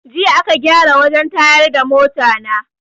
Jiya aka gyara wajen tayar da mota na